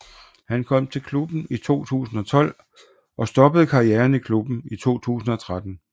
Han kom til klubben i 2012 og stoppede karrieren i klubben i 2013